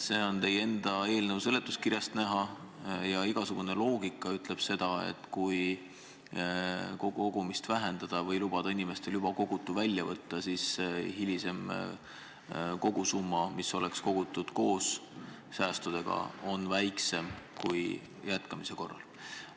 See on teie enda eelnõu seletuskirjast näha ja igasugune loogika ütleb, et kui kogumist vähendada või lubada inimestel juba kogutu välja võtta, siis hilisem kogusumma on väiksem kui kogumise jätkamise korral.